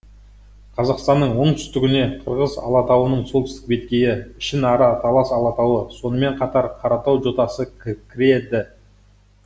қазақстанның оңтүстігіне қырғыз алатауының солтүстік беткейі ішінара талас алатауы сонымен қатар қаратау жотасы кіреді